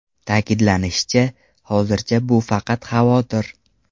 Ta’kidlanishicha, hozircha bu faqat xavotir.